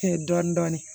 Dɔɔnin dɔɔnin